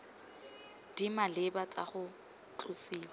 di maleba tsa go tlosiwa